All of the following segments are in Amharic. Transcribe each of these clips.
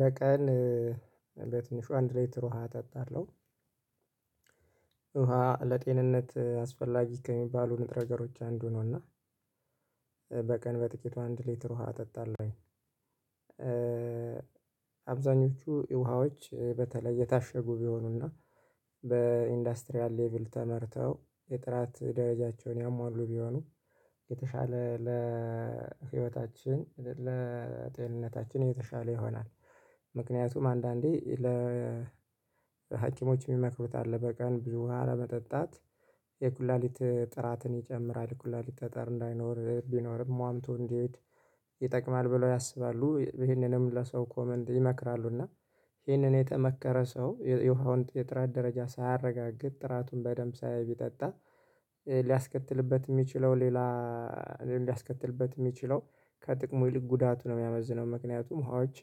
በቀን በትንሹ አንድ ልትር ውሃ እጠጣለሁ። ውሃ ለጤንነት አስፈላጊ ከሚባሉ ንጥረ ገሮች አንዱ ነውና። በቀን በጥቂቱ አንድ ሊትር ውሃ እጠጣለሁኝ። አብዛኞቹ ውሃዎች በተለይ የታሸጉ ቢሆኑና፤ በኢንዱስትሪያል ሌቭል ተመርተው የጥራት ደረጃቸውን ያሟሉ ቢሆኑ፤ የተሻለ ለህይወታችን ለጤንነታችን የተሻለ ይሆናል። ምክንያቱም አንዳንዴ ለ ሀክሞችም ይመክሩታል አለ በቀን ብዙ ውሃን መጠጣት። የኩላሊት ጥራትን ይጨምራል ኩላሊት ጠጠር እንዳይኖር ቢኖርም ዋምቶ እንዲሄድ ይጠቅማል ብለው ያስባሉ። ይሄንንም ለሰው ኮመንድ ይመክራሉ እና ይሄንን የተመከረ ሰው የውሃውን የጥራት ደረጃ ሳያረጋግጥ ጥራቱን በደንብ ሳያይ ቢጠጣ፤ ሊያስከትልበት የሚችለው ሌላ እንዳያስከትልበት የሚችለው ከጥቅሙ ይልቅ ጉዳቱ ነው የሚያመዝነው። ምክንያቱም ሀዎች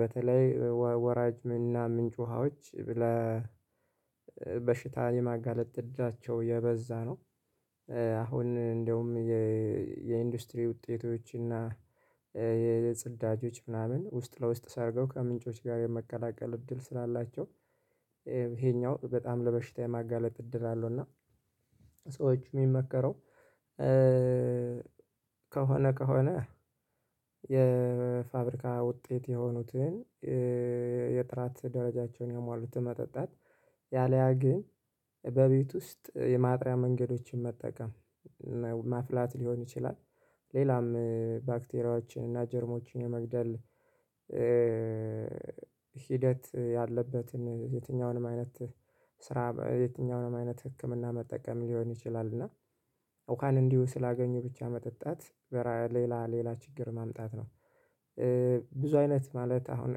በተለይ ወራጅ እና ምንጭ ውሃዎች ለበሽታን የማጋለጥ እድቸው የበዛ ነው። አሁን እንደውም የኢንዱስትሪ ውጤቶችና የጽዳጆች ምናምን ውስጥ ለውስጥ ሳደርገው ከምንጮች ጋር የመቀላቀል እድል ስላላቸው፤ ይሄኛው በጣም ለበሽታ የማጋለጥ እድል አለው። እና ሰዎች የሚመከረው ከሆነ ከሆነ የፋብሪካ ውጤት የሆኑትን የጥራት ደረጃቸውን ያሟሉት መጠጣት ያለያ ግን በቤት ውስጥ የማጥሪያ መንገዶችን መጠቀም። ማፍላት ሊሆን ይችላል፤ ሌላም ባክቴሪያዎችን እና ጀርሞችን የመግደል ሂደት ያለበትን የትኛውንም አይነት ስራ የትኛውንም አይነት ህክምና መጠቀም ሊሆን ይችላል። እና ውሃን እንዲሁ ስላገኙ ብቻ መጠጣት በራ ሌላ ሌላ ችግር ማምጣት ነው። ብዙ አይነት ማለት አሁን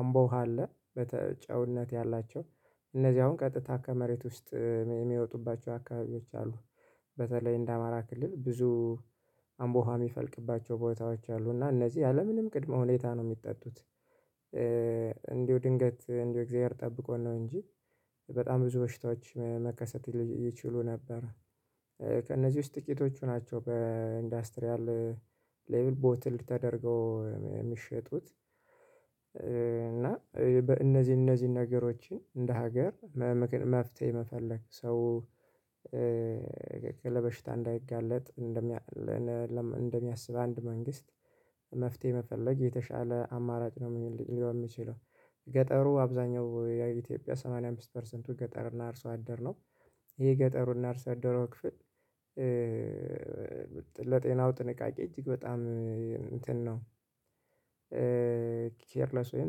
አምቦ ውሃ አለ፤ ጨውነት ያላቸው እነዚህ አሁን ቀጥታ ከመሬት ውስጥ የሚወጡባቸው አካባቢዎች አሉ። በተለይ እንደ አማራ ክልል ብዙ አምቦሃ የሚፈልቅባቸው ቦታዎች አሉ። እና እነዚህ ያለምንም ቅድመ ሁኔታ ነው የሚጠጡት። እንዲሁ ድንገት እንዲሁ እግዚአብሔር ጠብቆን ነው እንጂ፤ በጣም ብዙ በሽታዎች መከሰት ይችሉ ነበር። ከእነዚህ ውስጥ ጥቂቶቹ ናቸው በኢንዱስትሪያል ሌቭል ቦትል ተደርገው የሚሸጡት። እና በእነዚህ እነዚህን ነገሮችን እንደ ሀገር መፍትሄ መፈለግ፤ ሰው ለበሽታ እንዳይጋለጥ እንደሚያስብ አንድ መንግስት መፍትሄ መፈለግ የተሻለ አማራጭ ነው ሊሆን የሚችለው። ገጠሩ አብዛኛው የኢትዮጵያ ሰማንያ አምስት ፐርሰንቱ ገጠር እና አርሶ አደር ነው። ይሄ ገጠሩ እና አርሶ አደሩ ክፍል ለጤናው ጥንቃቄ እጅግ በጣም እንትን ነው ኬርለስ ወይም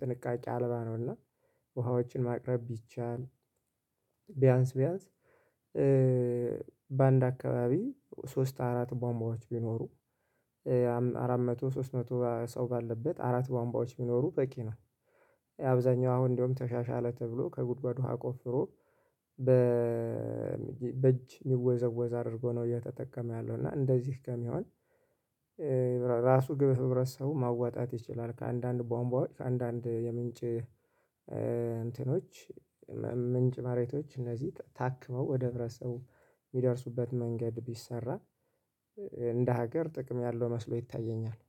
ጥንቃቄ አልባ ነው። እና ውሃዎችን ማቅረብ ቢቻል፤ ቢያንስ ቢያንስ በአንድ አካባቢ ሶስት አራት ቧንቧዎች ቢኖሩ፤ አራት መቶ ሶስት መቶ ሰው ባለበት አራት ቧንቧዎች ቢኖሩ በቂ ነው። አብዛኛው አሁን እንደውም ተሻሻለ ተብሎ፤ ከጉድጓድ ውሃ ቆፍሮ በእጅ የሚወዘወዝ አድርጎ ነው እየተጠቀመ ያለው። እና እንደዚህ ከሚሆን ራሱ ግብ ህብረት ሰው ማዋጣት ይችላል። ከአንዳንድ ቦምባዎች ከአንዳንድ የምንጭ እንትኖች ምንጭ ማሬቶች እነዚህ ታክመው፤ ወደ ህብረተሰቡ የሚደርሱበት መንገድ ቢሰራ እንደ ሀገር ጥቅም ያለው መስሎ ይታየኛል።